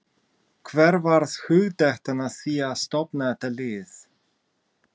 Hver varð hugdettan að því að stofna þetta lið?